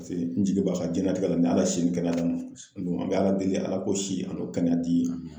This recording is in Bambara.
Pase n jigi b'a ka jɛnatikɛla ni Ala si ni kɛnɛya d'an ma an dun an bɛ Ala deli Ala k'o si an'o kɛnɛya di